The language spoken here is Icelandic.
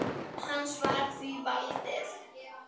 Hans var því valdið.